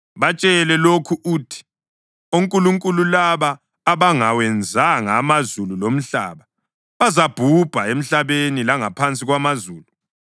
“Batshele lokhu uthi, onkulunkulu laba, abangawenzanga amazulu lomhlaba, bazabhubha emhlabeni langaphansi kwamazulu.”